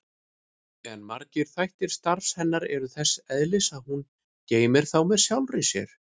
En margir þættir starfs hennar eru þess eðlis að hún geymir þá með sjálfri sér.